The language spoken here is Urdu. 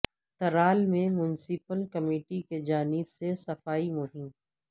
ترال میں میونسپل کمیٹی کی جانب سے صفائی مہم